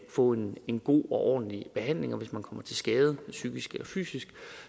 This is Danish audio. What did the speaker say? få en en god og ordentlig behandling og hvis man kommer til skade psykisk eller fysisk